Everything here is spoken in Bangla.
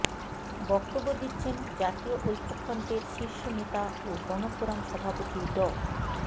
বক্তব্য দিচ্ছেন জাতীয় ঐক্যফ্রন্টের শীর্ষ নেতা ও গণফোরাম সভাপতি ড